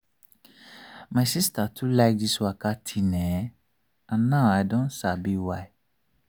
my sister too like this waka thing[um]and now i don sabi why.